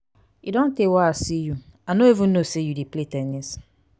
e don tey wey i see you i no even no say you dey play ten nis